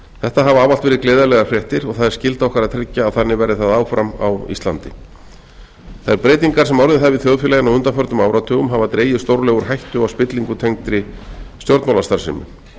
þetta hafa ávallt verið gleðilegar fréttir og það er skylda okkar að tryggja að þannig verði það áfram á íslandi þær breytingar sem orðið hafa í þjóðfélaginu á undanförnum áratugum hafa stórlega úr hættu á spillingu tengdri stjórnmálastarfsemi